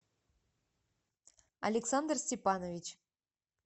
александр степанович